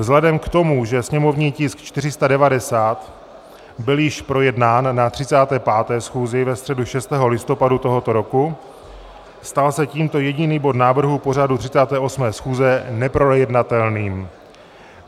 Vzhledem k tomu, že sněmovní tisk 490 byl již projednán na 35. schůzi ve středu 6. listopadu tohoto roku, stal se tímto jediný bod návrhu pořadu 38. schůze neprojednatelným.